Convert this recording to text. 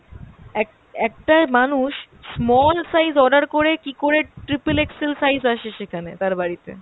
এক~ একটা মানুষ small size order করে কীকরে triple XL size আসে সেখানে তার বাড়িতে?